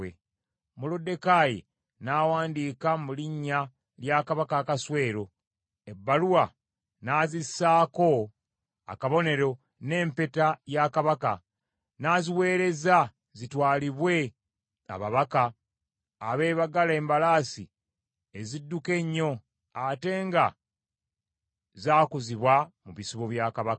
Moluddekaayi n’awandiika mu linnya lya Kabaka Akaswero, ebbaluwa n’azissaako akabonero n’empeta ya Kabaka, n’aziweereza zitwalibwe ababaka abeebagala embalaasi ezidduka ennyo ate nga zaakuzibwa mu bisibo bya Kabaka.